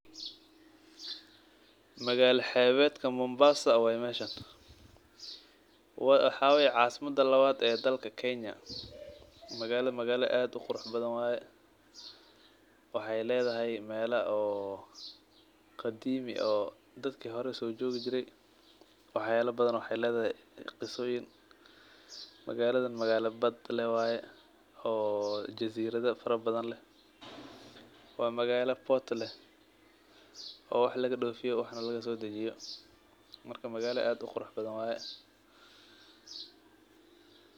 Magal xebedka mombasa waye meshan, waxaa waye casimaads lawad ee dalka kenya magala magala aad u qurax badan waye waxee ledhahay mela oo qadimo oo dadki hore sojogi jire waxee ledahay qisoyin magaladan magala bad leh waye oo jaziradha leh waa magala port leh oo wax laga dofiyo waxna laga sodajiyo marka magala aad u qurux badan waye.